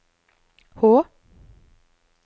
H